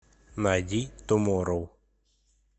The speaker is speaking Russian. найди туморроу